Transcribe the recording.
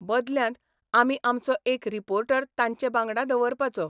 बदल्यांत आमी आमचो एक रिपोर्टर तांचे बांगडा दवरपाचो.